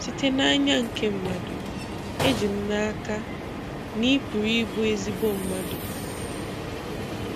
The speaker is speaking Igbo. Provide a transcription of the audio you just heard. Site n'anya nke mmadụ, e ji m n'aka na ị pụrụ ịbụ ezigbo mmadụ.